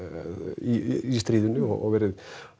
í stríðinu og verið